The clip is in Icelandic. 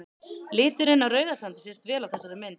Liturinn á Rauðasandi sést vel á þessari mynd.